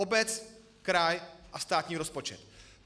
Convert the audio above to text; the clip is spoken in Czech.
Obec, kraj a státní rozpočet.